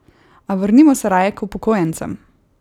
A vrnimo se raje k upokojencem!